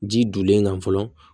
Ji donnen kan fɔlɔ